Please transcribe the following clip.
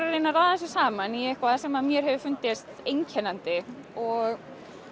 að reyna að raða þessu saman í eitthvað sem mér hefur fundist einkennandi og